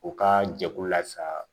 U ka jɛkulu la sa